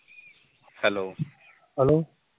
hello